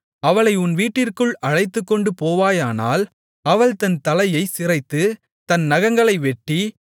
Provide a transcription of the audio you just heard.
அவளை உன் வீட்டிற்குள் அழைத்துக்கொண்டுபோவாயானால் அவள் தன் தலையைச் சிரைத்து தன் நகங்களை வெட்டி